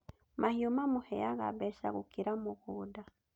Mahiũ mamũheaga mbeca gũkĩra mũgũnda